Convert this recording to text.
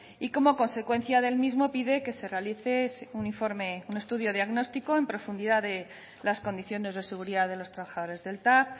y como consecuencia del mismo pide que se realice un informe un estudio diagnóstico en profundidad de las condiciones de seguridad de los trabajadores del tav